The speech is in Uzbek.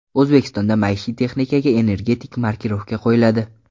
O‘zbekistonda maishiy texnikaga energetik markirovka qo‘yiladi.